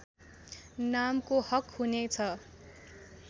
नामको हक हुने छ